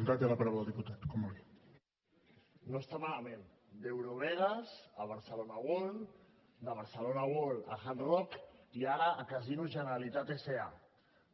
no està malament d’eurovegas a barcelona world de barcelona world a hard rock i ara a casinos generalitat sa